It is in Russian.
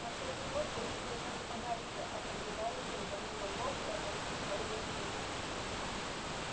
на всякий случай лучше держаться подальше от наблюдающих за ним богов и отойти за угол хижины